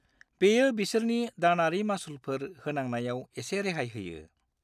बेयो बिसोरनि दानारि मासुलफोर होनांनायाव एसे रेहाय होयो।